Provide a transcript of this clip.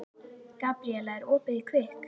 Gabríella, er opið í Kvikk?